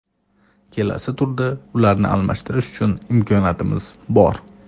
Kelasi turda ularni almashtirish uchun imkoniyatingiz bor.